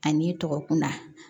A n'i tɔgɔ kunda